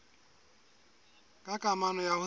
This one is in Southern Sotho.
ka kamano ya ho se